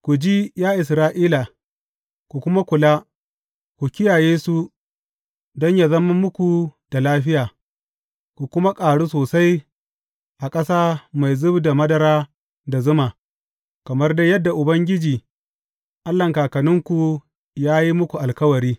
Ku ji, ya Isra’ila, ku kuma kula, ku kiyaye su don yă zama muku da lafiya, ku kuma ƙaru sosai a ƙasa mai zub da madara da zuma, kamar dai yadda Ubangiji, Allahn kakanninku ya yi muku alkawari.